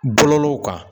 Bɔlɔlɔw kan